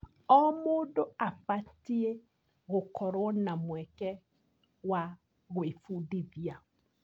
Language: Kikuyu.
O mũndũ abatiĩ gũkorwo na mweke wa gwĩbundithia.